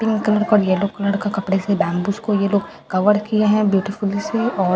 pink colour का और yellow colour का कपड़ों से बैम्बूस को यह लोग कवर किए हैं ब्यूटीफुल से और --